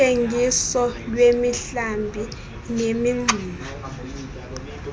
kuthengiso lwemihlambi nemingxuma